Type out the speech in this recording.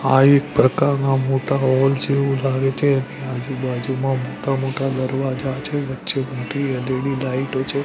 આ એક પ્રકારમાં મોટા હોલ જેવું લાગે છે એની આજુબાજુમાં મોટા મોટા દરવાજા છે વચ્ચે મોટી એલ_ઈ_ડી લાઈટો છે.